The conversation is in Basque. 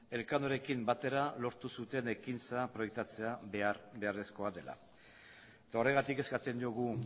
elkanorekin batera lortu zuten ekintza proiektatzea behar beharrezkoa dela eta horregatik eskatzen diogu